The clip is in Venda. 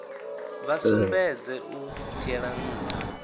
vha sumbedze u dzhiela ntha